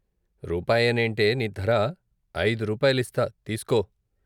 రూపాయేనేంటే నీ ధర ఐదు రూపాయిలిస్తా తీస్కో